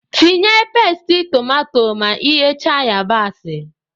Tinye pasti tomato ma ighecha yabasị